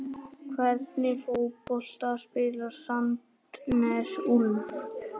Hvernig fótbolta spilar Sandnes Ulf?